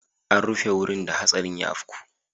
An rufe wurin da hatsarin ya afku.